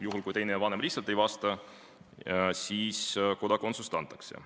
Juhul kui teine vanem lihtsalt ei reageeri, siis kodakondsus antakse.